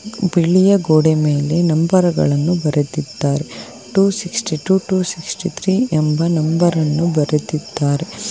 ಬಿಳಿಯ ಗೋಡೆ ಮೇಲೆ ನಂಬರ್ ಗಳನ್ನು ಬರೆದಿದ್ದಾರೆ two sixty two two sixty three ಎಂಬ ನಂಬರ್ ಅನ್ನು ಬರೆದಿದ್ದಾರೆ.